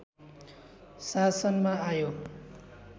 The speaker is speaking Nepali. शासनमा आयो